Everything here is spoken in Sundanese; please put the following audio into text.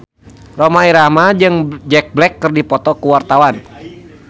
Rhoma Irama jeung Jack Black keur dipoto ku wartawan